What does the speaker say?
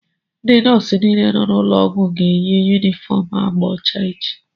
Ndị nọọsụ niile nọ n'ụlọọgwụ a ga-eyi yunifọm agba ọcha echi